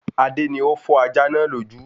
Adé ni ó fọ́ ajá náà lójú